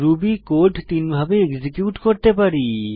Ruby code তিনভাবে execute করতে পারি